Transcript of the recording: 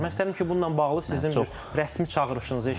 Məsəl üçün, bununla bağlı sizin bir rəsmi çağırışınızı eşidək.